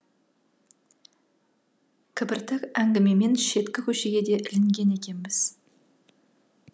кібіртік әңгімемен шеткі көшеге де ілінген екенбіз